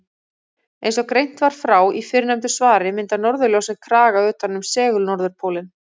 Eins og greint var frá í fyrrnefndu svari mynda norðurljósin kraga utan um segul-norðurpólinn.